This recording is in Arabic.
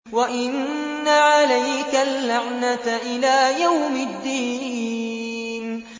وَإِنَّ عَلَيْكَ اللَّعْنَةَ إِلَىٰ يَوْمِ الدِّينِ